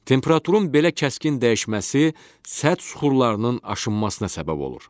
Temperaturun belə kəskin dəyişməsi sərt süxurların aşınmasına səbəb olur.